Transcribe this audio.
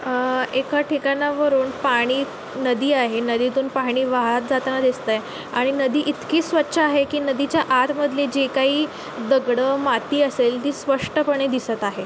अह एका ठिकाणावरून पानी नदी आहे. नदीतून पानी वाहत जाताना दिसतय आणि नदी इतकी स्वच्छ आहे की नदीच्या आतमधली जे काही दगड माती असेल ती स्पष्ठ पणे दिसत आहे.